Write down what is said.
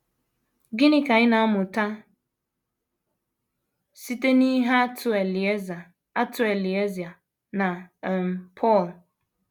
Gịnị ka anyị na - amụta site n’ihe atụ Elieza atụ Elieza na um Pọl?